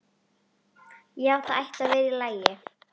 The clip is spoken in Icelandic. Já, það ætti að vera í lagi.